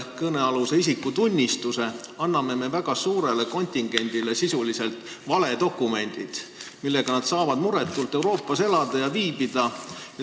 Kõnealuse isikutunnistusega anname me väga suurele kontingendile sisuliselt valedokumendid, millega nad saavad muretult Euroopas elada ja viibida.